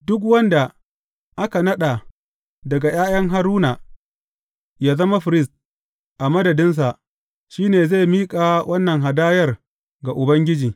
Duk wanda aka naɗa daga ’ya’yan Haruna yă zama firist a madadinsa, shi ne zai miƙa wannan hadayar ga Ubangiji.